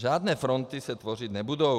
Žádné fronty se tvořit nebudou.